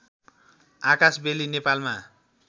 आकाशबेली नेपालमा